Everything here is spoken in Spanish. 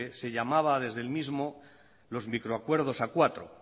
se llamaba desde el mismo los micro acuerdos a cuatro